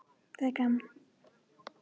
Hún hló þegar hún ljóstraði þessu upp.